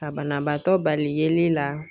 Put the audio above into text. Ka banabaatɔ bali yeli la.